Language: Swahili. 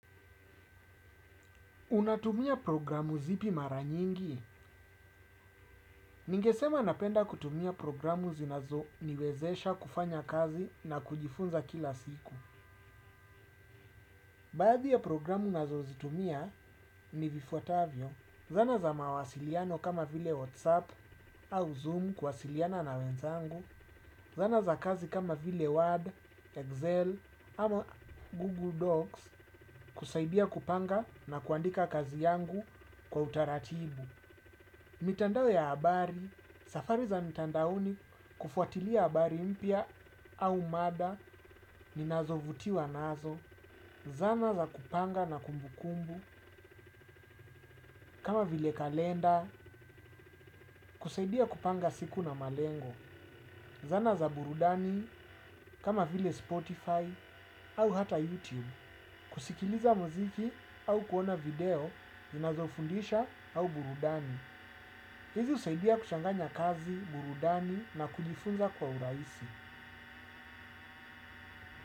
Unatumia programu zipi mara nyingi? Ningesema napenda kutumia programu zinazoniwezesha kufanya kazi na kujifunza kila siku. Baadhi ya programu ninazozitumia ni vifuatavyo. Zana za mawasiliano kama vile WhatsApp au Zoom kuwasiliana na wenzangu. Zana za kazi kama vile Word, Excel, ama Google Docs kusaidia kupanga na kuandika kazi yangu kwa utaratibu. Mitandao ya habari, safari za mitandaoni kufuatilia habari mpya au mada, ninazovuti wa nazo, zana za kupanga na kumbukumbu, kama vile kalenda, kusaidia kupanga siku na malengo, zana za burudani, kama vile Spotify, au hata YouTube, kusikiliza muziki au kuona video, ninazofundisha au burudani. Hizi usaidia kuchanganya kazi, burudani na kujifunza kwa urahisi.